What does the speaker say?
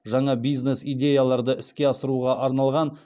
жаңа бизнес идеяларды іске асыруға арналған